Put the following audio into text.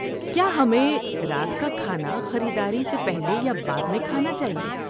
کیا ہمیں رات کا کھانا خریداری سے پہلے یا بعد میں کھانا چاہیے؟